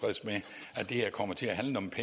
af de at